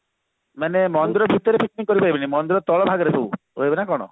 ମାନେ ମନ୍ଦିର ଭିତରେ picnic କରିପାରିବେ ମନ୍ଦିର ତଳ ଭାଗରେ ସବୁ ନା କଣ